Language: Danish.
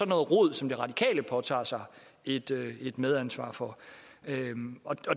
noget rod som de radikale påtager sig et medansvar for